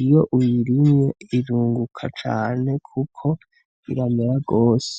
iyo uyirimye irunguka cane kuko iramera gose.